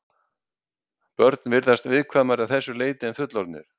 Börn virðast viðkvæmari að þessu leyti en fullorðnir.